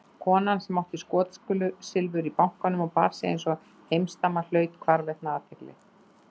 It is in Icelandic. Kona sem átti skotsilfur í bankanum og bar sig einsog heimsdama hlaut hvarvetna athygli.